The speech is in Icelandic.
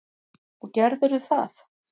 Og gerðirðu það?